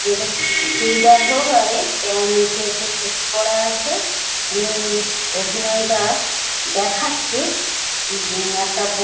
যেটা চুড়িদার হোক আরে প্যা নিচে হচ্ছে ধুতি পরা আছে উনি অভিনয়টা দেখাচ্ছে এবং একটা ব--